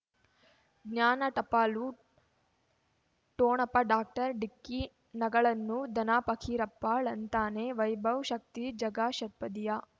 ಜ್ಞಾನ ಟಪಾಲು ಠೊಣಪ ಡಾಕ್ಟರ್ ಢಿಕ್ಕಿ ಣಗಳನು ಧನ ಫಕೀರಪ್ಪ ಳಂತಾನೆ ವೈಭವ್ ಶಕ್ತಿ ಝಗಾ ಷಟ್ಪದಿಯ